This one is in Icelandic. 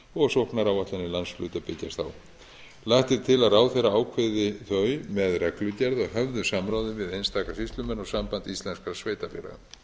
og sóknaráætlanir landshluta byggjast á lagt er til að ráðherra ákveði þau með reglugerð að höfðu samráði við einstaka sýslumenn og samband íslenskra sveitarfélaga